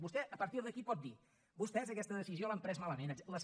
vostè a partir d’aquí pot dir vostès aquesta decisió l’han pres malament etcètera